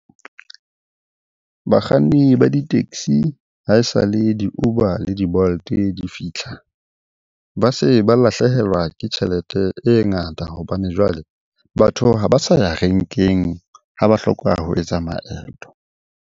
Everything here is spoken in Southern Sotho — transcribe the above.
Bakganni ba di-taxi ha e sa le di-Uber le di-Bolt di fitlha, ba se ba lahlehelwa ke tjhelete e ngata hobane jwale batho ha ba sa ya renkeng ha ba hlokwa ho etsa maeto.